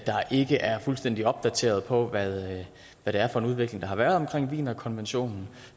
ikke er fuldstændig opdateret på hvad det er for en udvikling der har været omkring wienerkonventionen